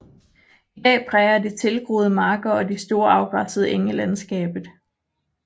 I dag præger de tilgroede marker og de store afgræssede enge landskabet